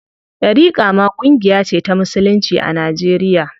Ɗariƙa ma ƙungiya ce ta musulunci a Najeriya.